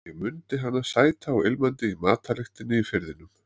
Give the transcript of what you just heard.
Ég mundi hana sæta og ilmandi í matarlyktinni í Firðinum.